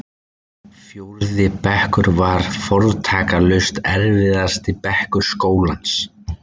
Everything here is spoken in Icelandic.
Fjórði bekkur var fortakslaust erfiðasti bekkur skólans.